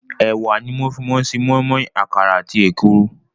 Ẹ̀wà ni wọ́n fi máa ń ṣe moinmoin, àkàrà àti èkuru.